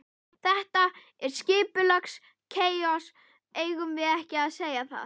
Þetta er skipulagt kaos, eigum við ekki að segja það?